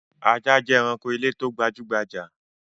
Àwọn ajá jẹ́ ẹranko ilé tó gbajú-gbajà.